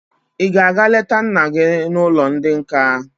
Ị ga-aga leta nna gị n'ụlọ ndị nka?